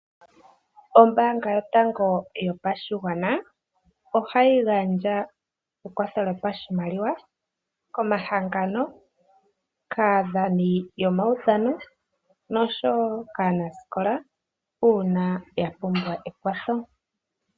Ombaanga yotango yopashigwana, ohayi gandja ekwatho lyopashimaliwa, komahangano, kaadhani yomaudhano, noshowo kaanasikola, uuna yapumbwa ekwatho.